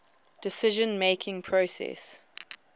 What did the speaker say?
decision making process